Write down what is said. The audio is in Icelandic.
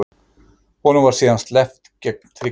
Honum var síðan sleppt gegn tryggingu